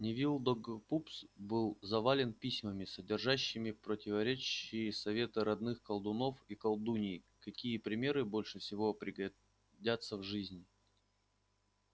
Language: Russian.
невилл долгопупс был завален письмами содержащими противоречивые советы родных колдунов и колдуний какие предметы больше всего пригодятся в жизни